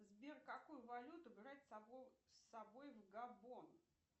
сбер какую валюту брать с собой в габон